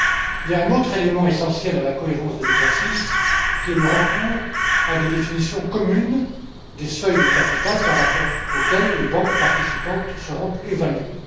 Il y a un autre élément essentiel à la cohérence de l'exercice le recours à des définitions communes des seuils de capital par rapport auxquels les banques participantes seront évaluées.